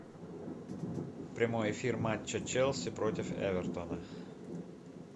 прямой эфир матча челси против эвертона